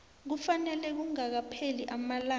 kufanele kungakapheli amalanga